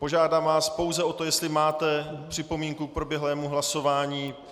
Požádám vás pouze o to, jestli máte připomínku k proběhlému hlasování.